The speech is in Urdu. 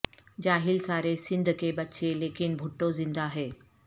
جاہل سارے سندھ کے بچے لیکن بھٹو ذندہ ہے